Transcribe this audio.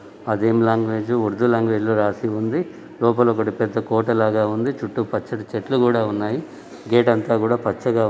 అదేమి language Urdu language లో రాసి ఉంది లోపల ఒకటి పెద్ద కోట లాగ ఉంది చుట్టూ పచ్చని చెట్లు కూడా ఉన్నాయ్ గేట్ అంతా కూడా పచ్చగా--